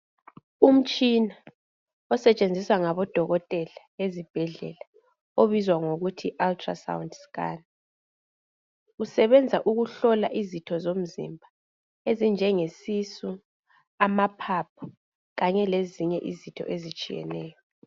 Umtshina osetshenziswa ngabodokotela ezibhedlela obizwa ngokuthi ultra sound scan. Usebenza ukuhlola izitho zomzimba ezinjenge sisu, amaphaphu kanye lezinye izitho ezitshiyeneyo.